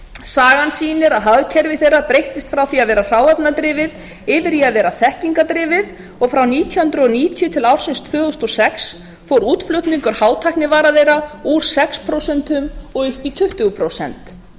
sagan sýnir að hagkerfi þeirra breyttist frá því að vera hráefnadrifið yfir í það að vera þekkingardrifið og frá nítján hundruð níutíu til ársins tvö þúsund og sex fór útflutningur hátæknivara þeirra úr sex prósent upp í tuttugu prósent